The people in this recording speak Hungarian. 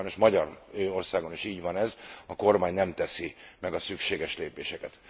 Egyébként sajnos Magyarországon is így van ez, a kormány nem teszi meg a szükséges lépéseket.